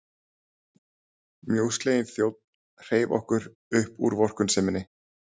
Mjósleginn þjónn hreif okkur upp úr vorkunnseminni.